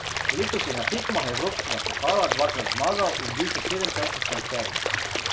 Letos je na tekmah evropskega pokala dvakrat zmagal in bil še sedemkrat v šestnajsterici.